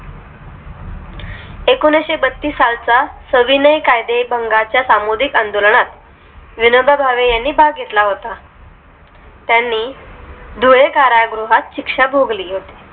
एकोणीशेबातीस सालचा सविनय कायदे भंगाच्या चा सामोदिक आंदोलनात विनोबा भावे यांनी भाग घेतला होता त्यांनी धुळे कारागृहात शिक्षा भोगली होती